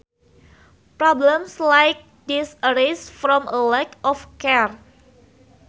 Problems like these arise from a lack of care